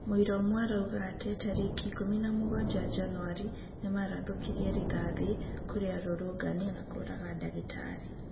Mũira umwe aroiga atĩ, tarĩki ĩkũmi na mũgwa januari nĩmarathũkirie rĩthathi kũrĩ arũrũngani na kũraga ndagĩtari.